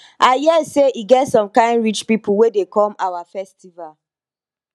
i hear say e get some kin rich people wey dey come our festival